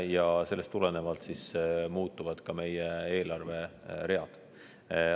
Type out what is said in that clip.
Ja sellest tulenevalt muutuvad ka meie eelarveread.